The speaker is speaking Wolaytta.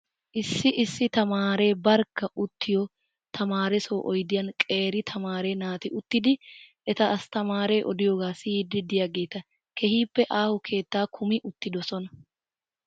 Issi issi tamaare barkka uttiyoo tamaaresoo odiyaan qeeri tamaare naati uttidi eta asttamaare odiyoogaa siyiddi diyaageeta. Keehippe aaho keetta kumi uttidosona.